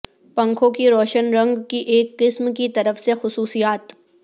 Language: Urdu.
پنکھوں کی روشن رنگ کی ایک قسم کی طرف سے خصوصیات